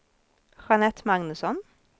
Jeanette Magnusson